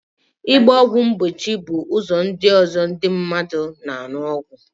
Ịgba ọgwụ mgbochi bụ ụdị ọzọ ndi mmadu na aṅụ ọgwụ